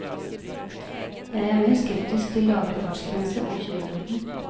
Jeg er mer skeptisk til lavere fartsgrense og kjøreforbud.